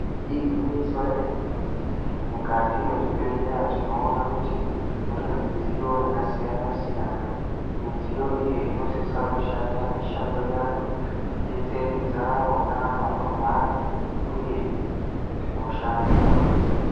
Igwinyiso remene mene ,mukati mezvibhehleya tinoona kuti mune midziyo yakasiyana siyana .Midziyo iyi inosisa kushanda mishando yayo ,kudetseredza vona vanorwara uye hosha kurwisa.